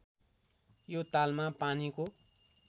यो तालमा पानीको